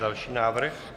Další návrh.